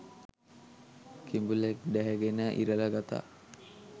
කිඹුලෙක් ඩැහැගෙන ඉරලා ගතා